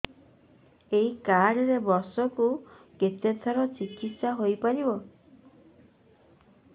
ଏଇ କାର୍ଡ ରେ ବର୍ଷକୁ କେତେ ଥର ଚିକିତ୍ସା ହେଇପାରିବ